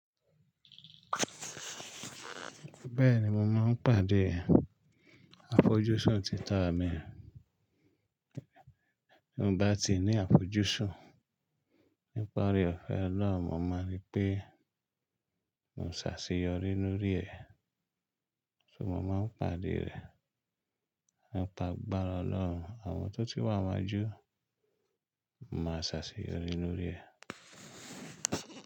Bẹ́ẹ̀ni mo máa ń pàdé àfojúsùn títà mi bí mo bá ti ní àfojúsùn nípa oore-ọ̀fẹ́ Ọlọ́run, mo mọ̀ pé mo ṣàṣeyọrí lórí rẹ̀. So mo máa ń pàdé rẹ̀. Ọlọ́run àwọn tó ti wà wájú, mo máa ṣàṣeyọrí lórí rẹ̀.